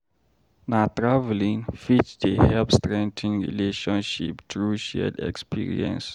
Na traveling fit dey help strengthen relationship through shared experience.